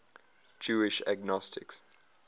jewish agnostics